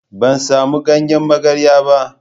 Ban samu ganyen magarya ba.